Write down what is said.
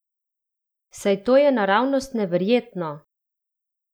Saj to je naravnost neverjetno!